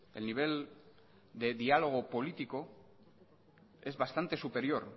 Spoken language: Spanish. el nivel de diálogo político es bastante superior